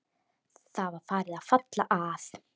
Það var farið að falla að.